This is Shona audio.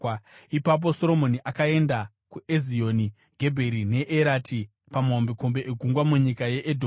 Ipapo Soromoni akaenda kuEzioni Gebheri neErati pamahombekombe egungwa munyika yeEdhomu.